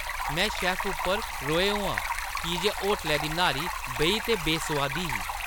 में शैफ्फ पर रोहें होआ की जे होटलै दी न्हारी बेही ते बेसोआदी ही।